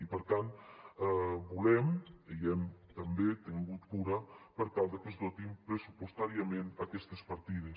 i per tant volem i n’hem també tingut cura per tal que es dotin pressupostàriament aquestes partides